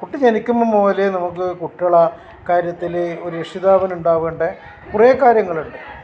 കുട്ടി ജനിക്കുമ്പോ മുതൽ നമ്മക് കുട്ടികളെ കാര്യത്തിൽ ഒരു രക്ഷിതാവിന് ഉണ്ടാവേണ്ട കൊറേ കാര്യങ്ങളുണ്ട്